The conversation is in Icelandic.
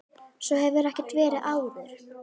Svo hafi ekki verið áður.